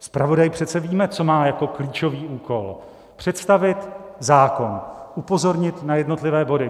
Zpravodaj, přece víme, co má jako klíčový úkol: představit zákon, upozornit na jednotlivé body.